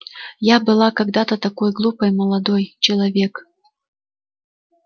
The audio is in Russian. я была когда-то такой глупой молодой человек